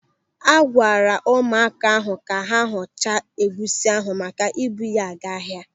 A gwara ụmụaka ahụ ka ha họchaa egusi ahụ maka ibu ya ga ahịa.